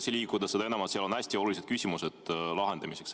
See on vajalik seda enam, et seal on hästi olulised küsimused vastamiseks.